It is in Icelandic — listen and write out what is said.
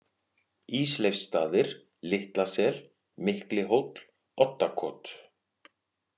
Ísleifsstaðir, Litlasel, Miklihóll, Oddakot